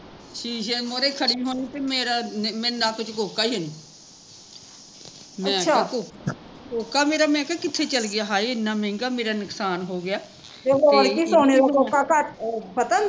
ਸ਼ੀਸ਼ੇ ਮੂਹਰੇ ਖੜੀ ਹੁਣੀ ਤੇ ਮੇਰਾ ਨੱਕ ਚ ਕੋਕਾ ਈ ਹੈਨੀ ਮੈਂ ਕਿਹਾ ਕੋਕਾ ਮੇਰਾ ਮੈਂ ਕਿਹਾ ਕਿੱਥੇ ਚੱਲ ਗੀਆ ਹਾਏ ਏਨਾ ਮਹਿੰਗਾ, ਮੇਰਾ ਨੁਕਸਾਨ ਹੋਗਿਆ